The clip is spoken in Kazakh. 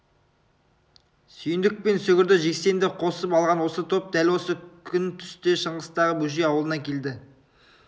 сүйіндік пен сүгірді жексенді қосып алған осы топ дәл осы күн түсте шыңғыстағы бөжей аулына келді